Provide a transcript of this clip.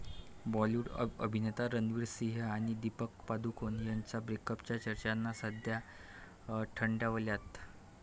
बॉलीवूड अभिनेता रणवीर सिंह आणि दीपिका पदुकोण यांच्या ब्रेकअपच्या चर्चांना सध्या थंडावल्यात.